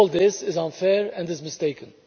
All this is unfair and is mistaken.